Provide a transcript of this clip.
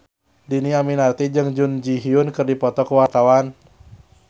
Dhini Aminarti jeung Jun Ji Hyun keur dipoto ku wartawan